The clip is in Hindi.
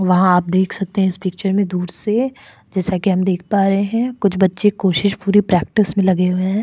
वहां आप देख सकते हैं इस पिक्चर में दूर से जैसा कि हम देख पा रहे हैं कुछ बच्चे कोशिश पूरी प्रैक्टिस में लगे हुए हैं।